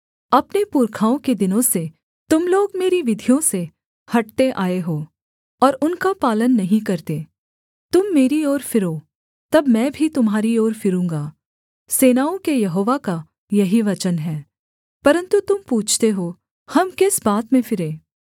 अपने पुरखाओं के दिनों से तुम लोग मेरी विधियों से हटते आए हो और उनका पालन नहीं करते तुम मेरी ओर फिरो तब मैं भी तुम्हारी ओर फिरूँगा सेनाओं के यहोवा का यही वचन है परन्तु तुम पूछते हो हम किस बात में फिरें